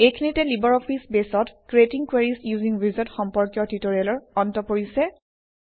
এইখিনিতে LibreOffice বেছত creating queries using wizard সম্পৰ্কীয় ট্যুটৰিয়েলৰ অন্ত পৰিছে